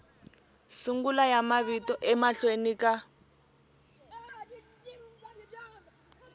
sungula ya mavito emahlweni ka